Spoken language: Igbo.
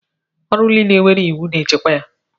Ọrụ niile nwere iwu na-echekwa ya.